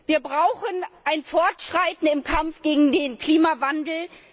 Wir brauchen ein Fortschreiten im Kampf gegen den Klimawandel!